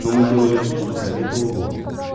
но мы делали то что советовал он